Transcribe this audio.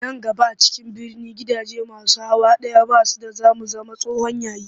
Nan gaba a cikin birni gidaje masu hawa ɗaya ba su da za mu zama tsohon yayi